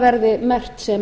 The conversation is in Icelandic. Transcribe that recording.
verði merkt sem